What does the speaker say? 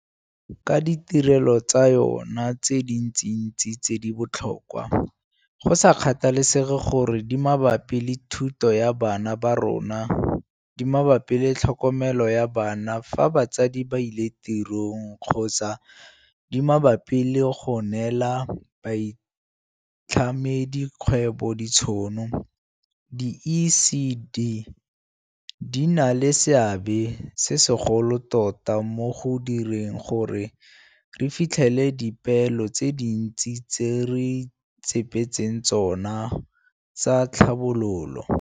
Ka ditirelo tsa yona tse dintsintsi tse di botlhokwa, go sa kgathalesege gore di mabapi le thuto ya bana ba rona, di mabapi le tlhokomelo ya bana fa batsadi ba ile tirong kgotsa di mabapi le go neela baitlhamedi kgwebo ditšhono, di-ECD di na le seabe se segolo tota mo go direng gore re fitlhelele dipeelo tse dintsi tse re ipee tseng tsona tsa tlhabololo.